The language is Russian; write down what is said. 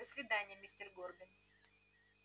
до свидания мистер горбин